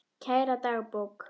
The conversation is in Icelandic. Kæra dagbók!